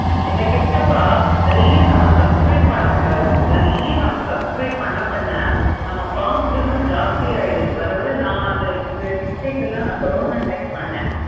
என்ன கேட்டப்ப நெறைய நம்ம subscribe பண்ண கூடாது சரியா? நெறைய நம்ம subscribe பண்ண பண்ண நம்ம ஜாஸ்த்தி ஆகிடுது வர வர நா அந்த இந்த mixie க்கு எல்லாம் நா corona time பண்ணேன்.